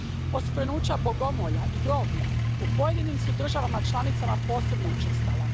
Oskvrnuća bogomolja i groblja u pojedinim su državama članicama posebno učestala.